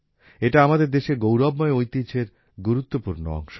এটা আমাদের দেশের গৌরবময় ঐতিহ্যের গুরুত্বপূর্ণ অংশ